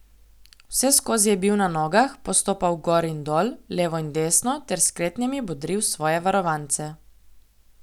Vseskozi je bil na nogah, postopal gor in dol, levo in desno ter s kretnjami bodril svoje varovance.